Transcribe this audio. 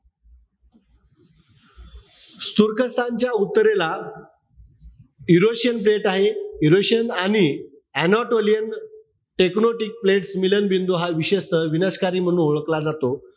तुर्कस्तानच्या उत्तरेला Eurasian plate आहे. Eurasian आणि anatolian tecnotic plate मिलनबिंदू हा विशेषतः विनाशकारी म्हणून ओळखला जातो.